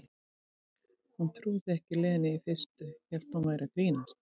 Hún trúði ekki Lenu í fyrstu, hélt hún væri að grínast.